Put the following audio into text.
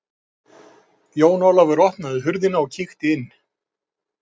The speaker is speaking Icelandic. Jón Ólafur opnaði hurðina og kíkti inn.